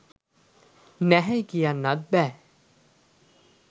නැහැයි කියන්නත් බැහැ.